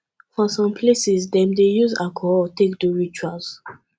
for some places dem dey use alcohol take do rituals